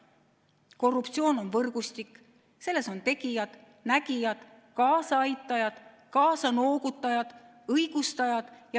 Korruptsioon on võrgustik, selles on tegijad, nägijad, kaasaaitajad, kaasanoogutajad ja õigustajad.